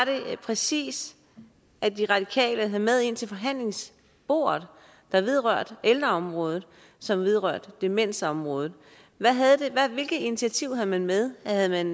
det præcis at de radikale havde meget ind til forhandlingsbordet der vedrørte ældreområdet som vedrørte demensområdet hvilke initiativer havde man med havde man